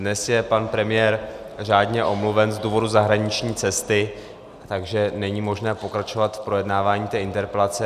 Dnes je pan premiér řádně omluven z důvodu zahraniční cesty, takže není možné pokračovat v projednávání té interpelace.